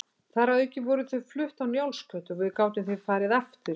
Þar að auki voru þau flutt á Njálsgötu og við gátum því farið aftur í